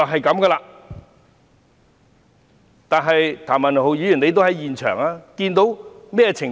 譚文豪議員在現場，他看到甚麼情況？